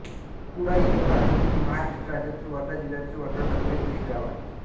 पुळाई हे भारतातील महाराष्ट्र राज्यातील वर्धा जिल्ह्यातील वर्धा तालुक्यातील एक गाव आहे